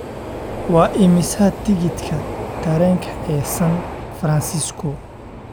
Waa imisa tikidhka tareenka ee San Francisco?